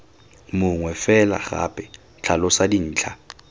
mongwe fela gape tlhalosa dintlha